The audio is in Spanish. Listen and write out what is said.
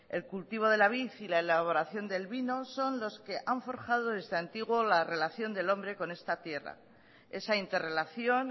el cultivo de la vid y la elaboración del vino son los que han forjado desde antiguo la relación del hombre con esta tierra esa interrelación